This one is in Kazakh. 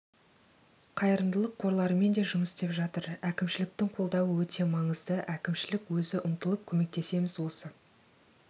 қайырымдылық қорларымен де жұмыс істеп жатыр әкімшіліктің қолдауы өте маңызды әкімшілік өзі ұмтылып көмектесеміз осы